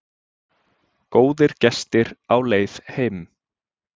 Góðir gestir á leið heim